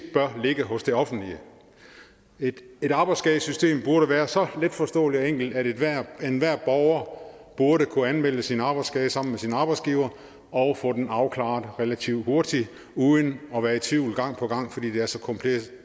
bør ligge hos det offentlige et et arbejdsskadesystem burde være så letforståeligt og enkelt at enhver borger burde kunne anmelde sin arbejdsskade sammen med sin arbejdsgiver og få den afklaret relativt hurtigt uden at være i tvivl gang på gang det er så kompliceret